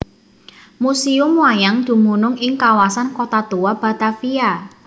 Museum Wayang dumunung ing Kawasan Kota Tua Batavia